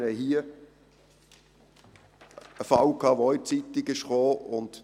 Wir hatten einen Fall, über den auch in der Zeitung berichtet wurde.